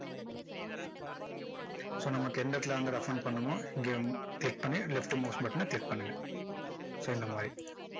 so நமக்கு எந்த இடத்துல வந்து roughen பண்ணணுமோ இங்க click பண்ணி left mouse button ன click பண்ணுங்க so இந்த மாதிரி